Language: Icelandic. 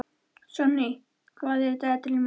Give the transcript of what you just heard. Sonný, hvað er á dagatalinu mínu í dag?